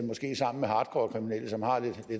sammen med hardcore kriminelle som har lidt